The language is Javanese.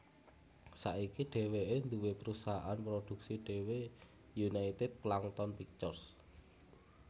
Saiki dheweke duwé prusahaan produksi dhewe United Plankton Pictures